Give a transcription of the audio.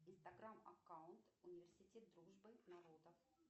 инстаграм аккаунт университет дружбы народов